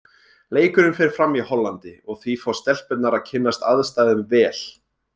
Leikurinn fer fram í Hollandi og því fá stelpurnar að kynnast aðstæðum vel.